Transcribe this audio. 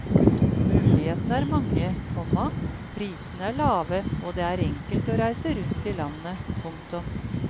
Mulighetene er mange, komma prisene er lave og det er enkelt å reise rundt i landet. punktum